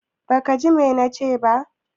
Baka ji ma na ce ba?